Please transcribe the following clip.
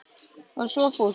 Og svo fórstu.